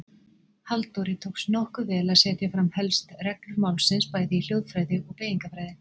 Halldóri tókst nokkuð vel að setja fram helst reglur málsins bæði í hljóðfræði og beygingarfræði.